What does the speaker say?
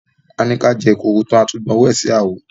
A ní ká jẹ èkuru tán, a tún gbàn owó sí àwo.